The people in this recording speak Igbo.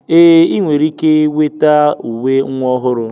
Ee, ị nwere ike weta uwe nwa ọhụrụ